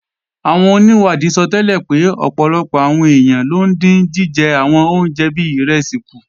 Àwọn onìwádìí sọtẹ́lẹ̀ pé ọ̀pọ̀lọpọ̀ àwọn èèyàn ló ń dín jíjẹ àwọn oúnjẹ bí ìrẹsì kù